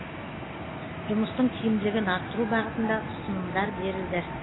жұмыстың тиімділігін арттыру бағытында ұсынымдар берілді